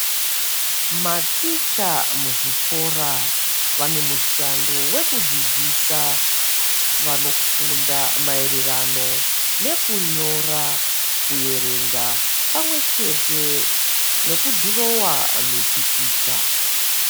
Maticha muzvikora vane mushando wekudzidzisa vanofunda maererano nekunyora, kuerenga pamwechete nekudhirowa mipikicha.